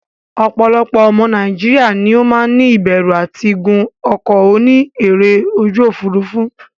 Opolopo omo Nigeria ni o maa ni iberu ati gun oko oni ere oju ofurufu.